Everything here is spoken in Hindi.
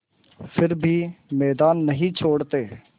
फिर भी मैदान नहीं छोड़ते